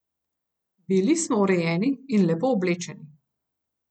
Bili smo urejeni in lepo oblečeni.